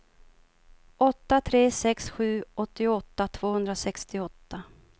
åtta tre sex sju åttioåtta tvåhundrasextioåtta